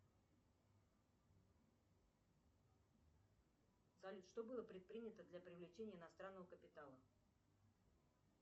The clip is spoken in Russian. салют что было предпринято для привлечения иностранного капитала